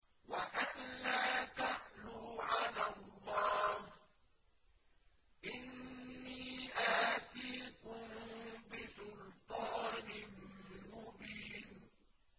وَأَن لَّا تَعْلُوا عَلَى اللَّهِ ۖ إِنِّي آتِيكُم بِسُلْطَانٍ مُّبِينٍ